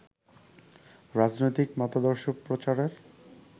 রাজনৈতিক মতাদর্শ প্রচারের